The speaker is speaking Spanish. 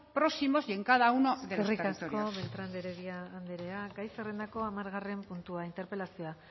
próximos y en cada uno de los territorios eskerrik asko beltran de heredia andrea gai zerrendako hamargarren puntua interpelazioa